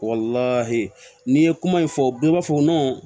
n'i ye kuma in fɔ bɛɛ b'a fɔ